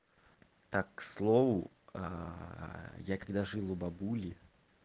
так к слову я когда жил у бабули